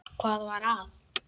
Hvað var að?